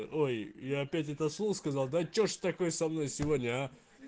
ой и опять это слово сказал да что ж такое со мной сегодня а